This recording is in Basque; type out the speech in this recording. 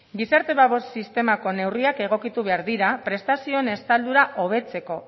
gizarte babes sistemako neurriak egokitu behar dira prestazioen estaldura hobetzeko